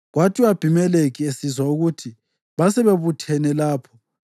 Kwathi u-Abhimelekhi esizwa ukuthi basebebuthene lapho,